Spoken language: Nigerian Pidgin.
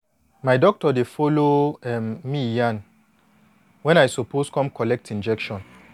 my doctor dey follow um me yan wen i suppose come collect injection